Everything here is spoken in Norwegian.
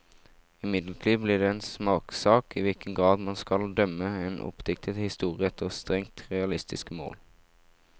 Imidlertid blir det en smakssak i hvilken grad man skal dømme en oppdiktet historie efter strengt realistiske mål.